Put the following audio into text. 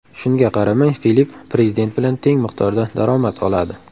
Shunga qaramay, Filipp prezident bilan teng miqdorda daromad oladi.